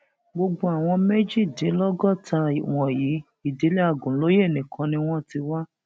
gbogbo àwọn méjèèjìdínlọgọta wọnyí ìdílé agunlóye nìkan ni wọn ti wá